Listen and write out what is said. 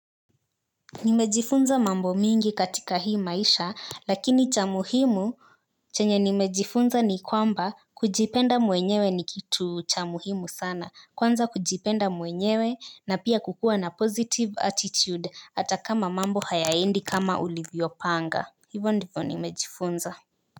Nimejifunza mambo mingi katika hii maisha lakini cha muhimu chenye nimejifunza ni kwamba kujipenda mwenyewe ni kitu cha muhimu sana kwanza kujipenda mwenyewe na pia kukuwa na positive attitude hata kama mambo hayaendi kama ulivyopanga hivo ndivo nimejifunza.